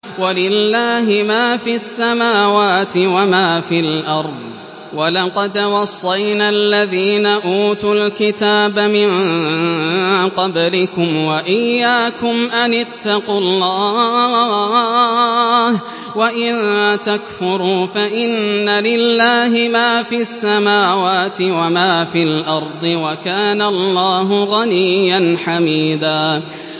وَلِلَّهِ مَا فِي السَّمَاوَاتِ وَمَا فِي الْأَرْضِ ۗ وَلَقَدْ وَصَّيْنَا الَّذِينَ أُوتُوا الْكِتَابَ مِن قَبْلِكُمْ وَإِيَّاكُمْ أَنِ اتَّقُوا اللَّهَ ۚ وَإِن تَكْفُرُوا فَإِنَّ لِلَّهِ مَا فِي السَّمَاوَاتِ وَمَا فِي الْأَرْضِ ۚ وَكَانَ اللَّهُ غَنِيًّا حَمِيدًا